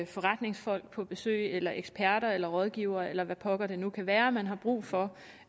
forretningsfolk på besøg eller eksperter eller rådgivere eller hvad pokker det nu kan være man har brug for